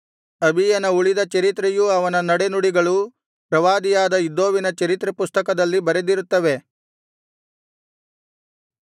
ಅಬೀಯನ ಉಳಿದ‍ ಚರಿತ್ರೆಯೂ ಅವನ ನಡೆನುಡಿಗಳೂ ಪ್ರವಾದಿಯಾದ ಇದ್ದೋವಿನ ಚರಿತ್ರೆ ಪುಸ್ತಕದಲ್ಲಿ ಬರೆದಿರುತ್ತವೆ